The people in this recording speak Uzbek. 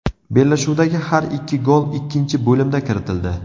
Bellashuvdagi har ikki gol ikkinchi bo‘limda kiritildi.